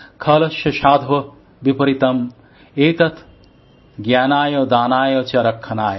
খলস্য সাধোঃ বিপরীতম এতত জ্ঞানায় দানায় চ রক্ষনায়